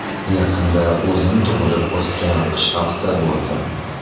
Yaqinda o‘zim tug‘ilib o‘sgan qishloqda bo‘ldim.